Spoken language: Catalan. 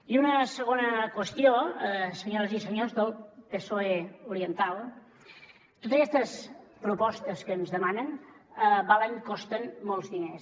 i una segona qüestió senyores i senyors del psoe oriental totes aquestes propostes que ens demanen valen costen molts diners